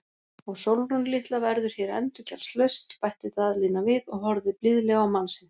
Og Sólrún litla verður hér endurgjaldslaust, bætti Daðína við og horfði blíðlega á mann sinn.